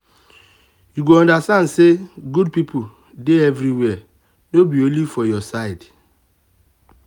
you go understand say good people dey everywhere no be only for your side.